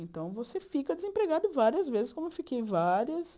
Então, você fica desempregado várias vezes, como eu fiquei várias.